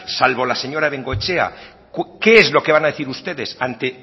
salvo la señora bengoechea qué es lo que van a decir ustedes ante